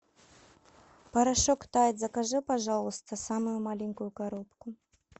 порошок тайд закажи пожалуйста самую маленькую коробку